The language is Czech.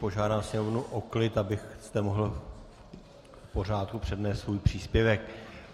Požádám Sněmovnu o klid, abyste mohl v pořádku přednést svůj příspěvek.